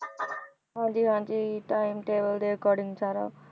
ਹਾਂਜੀ ਹਾਂਜੀ timetable ਦੇ according ਸਾਰਾ।